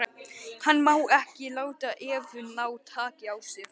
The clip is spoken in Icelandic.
Hann má ekki láta Evu ná taki á sér.